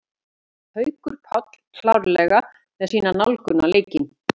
Miðjumenn: Haukur Páll klárlega með sína nálgun á leikinn.